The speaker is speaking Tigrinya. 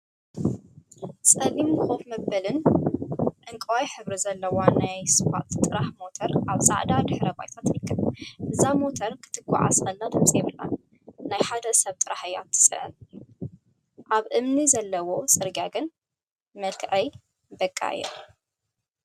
ፀሊም ኮፍ መበሊአን ዕንቋይ ሕብሪ ዘለዋን ናይ ስፓልት ጥራሕ ሞተር አብ ፃዕዳ ድሕረ ባይታ ትርከብ፡፡ እዛ ሞተር ክትጓዓዝ ከላ ድምፂ የብላን፡፡ ናይ ሓደ ሰብ ጥራሕ እያ ትፅዕን፡፡ አብ እምኒ ዘለዎ ፅርግያ ግን መልክዐይ በቃ እያ፡፡